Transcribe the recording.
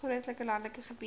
grootliks landelike gebied